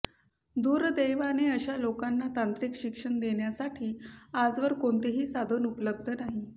दुर्दैवाने अशा लोकांना तांत्रिक शिक्षण देण्यासाठी आजवर काेणतेही साधन उपलब्ध नाही